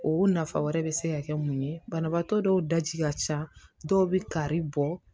O nafa wɛrɛ bɛ se ka kɛ mun ye banabaatɔ dɔw ji ka ca dɔw bɛ kari bɔ